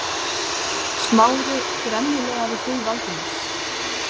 Smári gremjulega við hlið Valdimars.